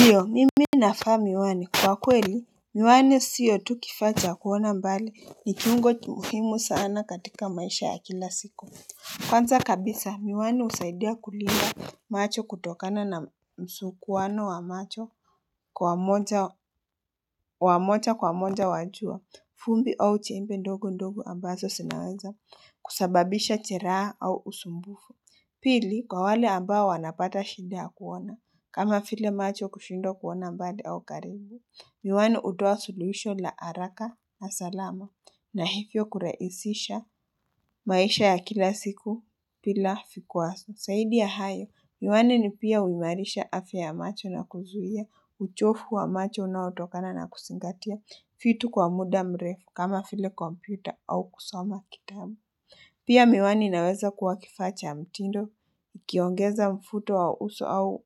Ndiyo mimi navaa miwani kwa kweli miwani siyo tukifaacha kuona mbali ni kiungo muhimu sana katika maisha ya kila siku Kwanza kabisa miwani husaidia kulinda macho kutokana na msu kuwano wa macho kwa moja wa moja kwa moja wajua vumbi au chembe ndogo ndogo ambazo zinaweza kusababisha jeraha au usumbufu Pili, kwa wale ambao wanapata shinda yakuona, kama vile macho kushindwa kuona mbali au karibu, miwani hutoa suluhisho la haraka na salama na hivyo kurahisisha maisha ya kila siku bila vikwazo. Zaidi ya hayo, miwani ni pia huimarisha afya ya macho na kuzuia, uchovu wa macho unaotokana na kuzingatia vitu kwa muda mrefu kama vile kompyuta au kusoma kitabu. Pia miwani inaweza kuwa kifaacha cha mtindo, ukiongeza mvuto wa uso au